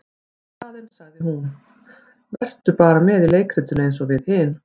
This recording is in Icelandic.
Í staðinn sagði hún:- Vertu bara með í leikritinu eins og við hin.